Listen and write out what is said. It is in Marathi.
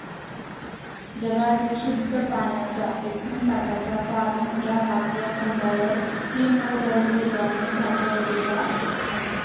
जगातील शुद्ध पाण्याच्या एकूण साठ्याचा फार मोठा भाग या खंडावर हिम व बर्फरूपाने साठलेला आहे.